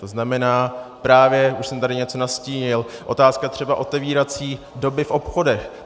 To znamená, právě už jsem tady něco nastínil, otázka třeba otevírací doby v obchodech.